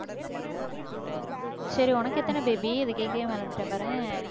சரி உனக்கு எத்தன baby இதை கேட்கவே மறந்துட்டேன் பாரேன்